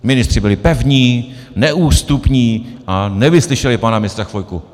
Ministři byli pevní, neústupní a nevyslyšeli pana ministra Chvojku.